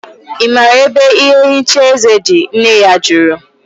I maara ebe ihe nhicha eze dị? Nne ya jụrụ